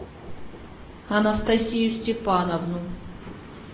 анастасию степановну